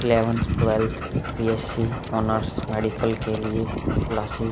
Eleventh twelfth BSc. Honours medical के लिए classes --